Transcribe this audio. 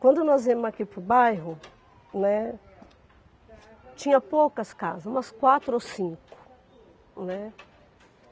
Quando nós viemos aqui para o bairro, né, tinha poucas casas, umas quatro ou cinco, né.